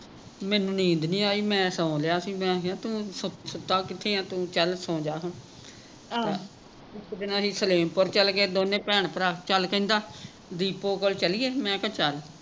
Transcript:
ਮੈਨੂੰ ਨੀਂਦ ਨਹੀਂ ਆਈ ਮੈਂ ਸੋਂ ਲਿਆ ਸੀ ਮੈਂ ਕਿਹਾ ਤੂੰ ਸੁ ਸੁੱਤਾ ਕਿਥੇ ਹੈਂ ਤੂੰ ਚੱਲ ਸੌਂਜਾ ਹੁਣ ਇਕ ਦਿਨ ਅਸੀਂ ਸਲੇਮਪੁਰ ਚਲੇ ਗਏ ਦੋਨੇ ਭੈਣ ਭਰਾ ਚੱਲ ਕਹਿੰਦਾ ਬਿਪੋ ਕੋਲ ਚਲੀਏ ਮੈਂ ਕਿਹਾ ਚੱਲ